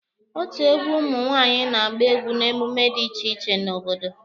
Otu egwu ụmụ nwaanyị na-agba egwu n'emume dị iche iche n'obodo.